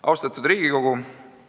Austatud Riigikogu!